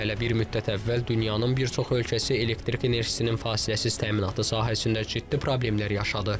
Hələ bir müddət əvvəl dünyanın bir çox ölkəsi elektrik enerjisinin fasiləsiz təminatı sahəsində ciddi problemlər yaşadı.